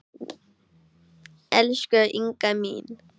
Elsku Inga mín.